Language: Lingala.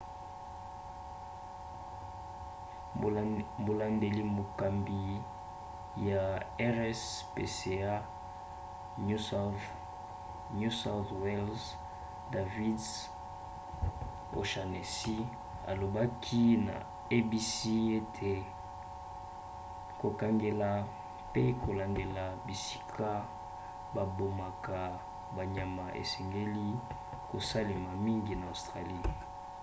molandeli-mokambi ya rspca new south wales david o'shannessy alobaki na abc ete kokengela pe kolandela bisika babomaka banyama esengeli kosalemaka mingi na australie